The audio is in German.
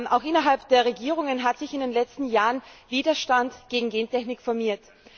Auch innerhalb der Regierungen hat sich in den letzten Jahren Widergestand gegen Gentechnik formiert.